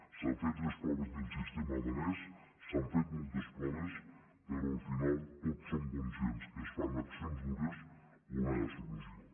s’han fet les proves del sistema danès s’han fet moltes proves però al final tots som conscients que es fan accions dures o no hi ha solució